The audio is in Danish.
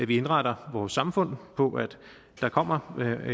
vi indretter vores samfund på at der kommer